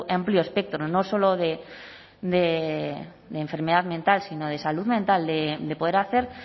amplio espectro no solo de enfermedad mental sino de salud mental de poder hacer